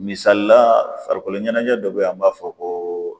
Misalila farikoloɲɛnɛjɛ dɔ be yen an b'a fɔ ko